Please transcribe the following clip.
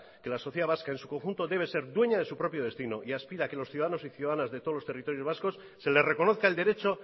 que la sociedad vasca en su conjunto debe ser dueña de su propio destino y aspira a que los ciudadanos y ciudadanas de todos los territorios vascos se les reconozca el derecho